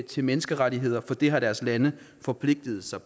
til menneskerettigheder for det har deres lande forpligtet sig